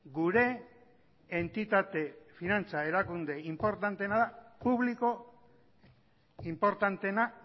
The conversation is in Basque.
gure entitate finantza erakunde inportanteena da publiko inportanteena